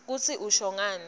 kutsi usho ngani